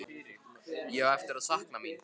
Ég á eftir að sakna mín.